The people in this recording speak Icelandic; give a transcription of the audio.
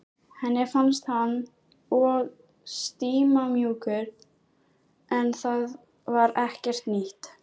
Henni fannst hann of stimamjúkur en það var ekkert nýtt.